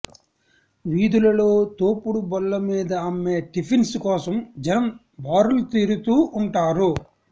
వీధులలో తోపుడు బళ్ల మీద అమ్మే టిఫిన్స్ కోసం జనం బారులు తీరుతూ ఉంటారు